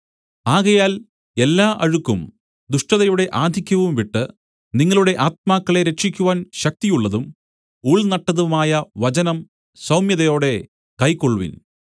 ആകയാൽ എല്ലാ അഴുക്കും ദുഷ്ടതയുടെ ആധിക്യവും വിട്ട് നിങ്ങളുടെ ആത്മാക്കളെ രക്ഷിക്കുവാൻ ശക്തിയുള്ളതും ഉൾനട്ടതുമായ വചനം സൗമ്യതയോടെ കൈക്കൊൾവിൻ